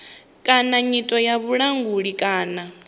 kana nyito ya vhulanguli kana